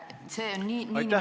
See on nn kafkalik olukord.